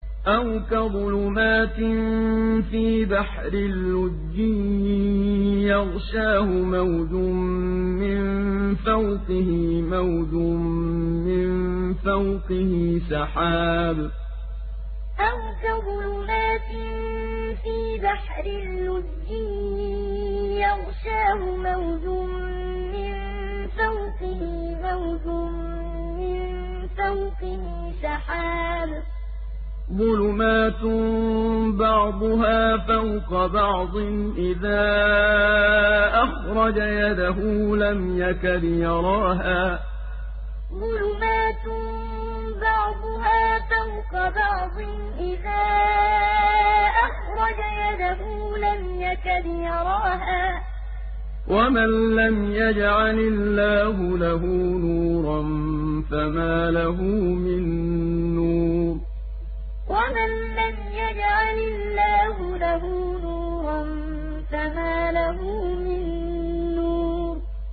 أَوْ كَظُلُمَاتٍ فِي بَحْرٍ لُّجِّيٍّ يَغْشَاهُ مَوْجٌ مِّن فَوْقِهِ مَوْجٌ مِّن فَوْقِهِ سَحَابٌ ۚ ظُلُمَاتٌ بَعْضُهَا فَوْقَ بَعْضٍ إِذَا أَخْرَجَ يَدَهُ لَمْ يَكَدْ يَرَاهَا ۗ وَمَن لَّمْ يَجْعَلِ اللَّهُ لَهُ نُورًا فَمَا لَهُ مِن نُّورٍ أَوْ كَظُلُمَاتٍ فِي بَحْرٍ لُّجِّيٍّ يَغْشَاهُ مَوْجٌ مِّن فَوْقِهِ مَوْجٌ مِّن فَوْقِهِ سَحَابٌ ۚ ظُلُمَاتٌ بَعْضُهَا فَوْقَ بَعْضٍ إِذَا أَخْرَجَ يَدَهُ لَمْ يَكَدْ يَرَاهَا ۗ وَمَن لَّمْ يَجْعَلِ اللَّهُ لَهُ نُورًا فَمَا لَهُ مِن نُّورٍ